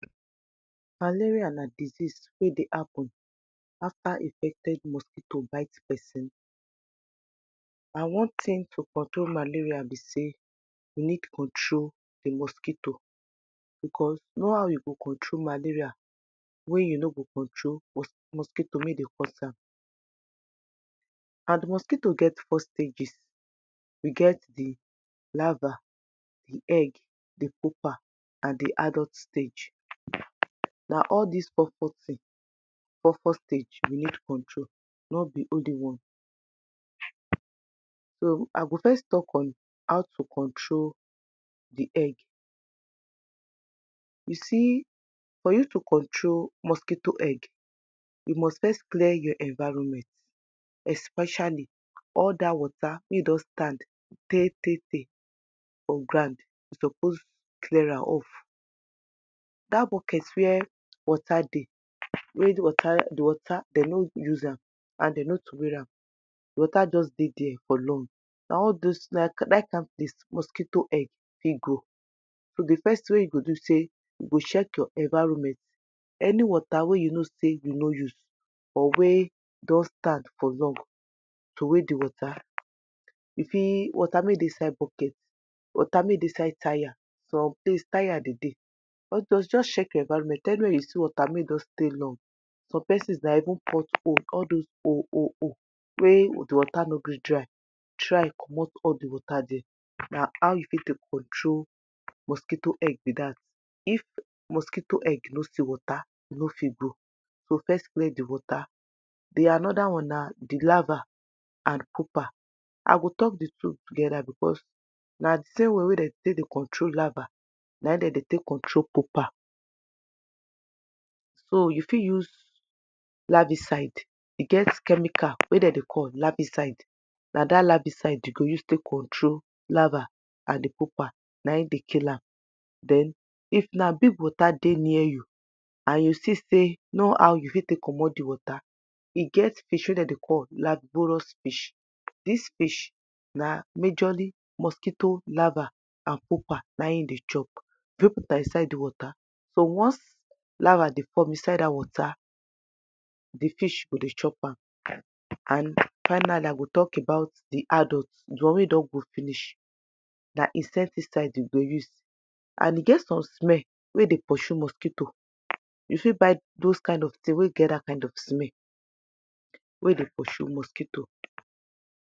Malaria na disease wey dey happen after infected mosquito bite person and one tin to control malaria bi say you need control di mosquito because no how you go control malaria wey you no go control mosqui mosquitoe wey e dey cos am and mosquitoe get four stages, we get di lava, di egg, di pupper and di adult stage, na all dis four four tin, four four stage we need control not di no bí only one so I go first talk on how to control di egg, you see for you to control di mosquito egg, you must first clear your environment especially all dat water wey don stand tey tey for ground you suppose clear am up, that bucket where water dey wey water water, di water dem no use am and dem no throway am, di water just dey día for long, na all those, na Dat kind place mosquitoe egg fit grow so di first tin wey you go fit do bi say you go check your environment, any water wey you know say you no use or wey don stand long, throway di water, you see water wey dey inside bucket, water wey dey inside tyre, some place tyre dey dey, but just check your environment anywhere you see water wey don long, some persons na even pothole, all those hole hole hole wey di water no gree dry try commot all di water día, na how you fit take control mosquitoe egg bi dat, if mosquito egg no see water, e no o fit grow so wey di water. So another one na di lava and pupper, I go talk di two together because na di same way wey dem take dey control lava na e dem take dey control pupper so you fit use laviside, e get chemical wey dem dey call laviside, na dat laviside you go use control lava and di pupper, na e dey kill am then if na big water dey near you and you see say no how you fit control all di water, e get fish wey dem dey call lamborous fish, dis fish na majorly mosquito lava and pupper na e e dey chop, just put am inside water so once lava dey come inside di water, di fish go chop am and finally I go talk about di adult, di one wey don grow finish, na insecticide you go use and e get some smell wey e dey pursue mosquito, you fit get those kind of tin wey get those kind of smell wey dey pursue mosquito